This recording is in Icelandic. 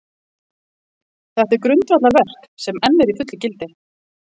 Þetta er grundvallarverk, sem enn er í fullu gildi.